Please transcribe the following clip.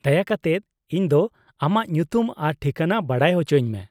-ᱫᱟᱭᱟ ᱠᱟᱛᱮᱫ ᱤᱧ ᱫᱚ ᱟᱢᱟᱜ ᱧᱩᱛᱩᱢ ᱟᱨ ᱴᱷᱤᱠᱟᱹᱱᱟ ᱵᱟᱰᱟᱭ ᱚᱪᱚᱧ ᱢᱮ ᱾